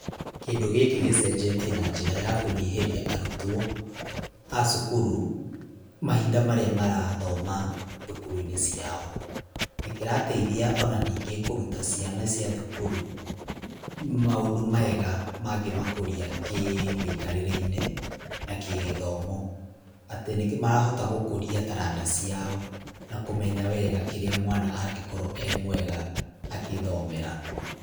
Kĩndũ gĩkĩ gĩcenjetie na njĩra ya kũnyihĩria arutwo, a cukuru mahinda marĩa marathoma thukuru-inĩ ciao. Nĩ kĩrateithia ona ningĩ kũruta ciana cia thukuru maũndũ mega mangĩmakũria kĩmĩikarĩre-inĩ, na kĩgĩthomo. Atĩ nĩ marahota gũkũria taranda ciao na kũmenya wega kĩrĩa mwana angĩkorwo e mwega akĩthomera.